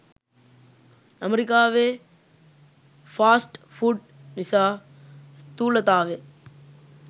අමෙරිකාවේ fast food නිසා ස්ථූලතාවය